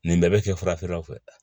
Nin bɛɛ bɛ kɛ farafinw fɛ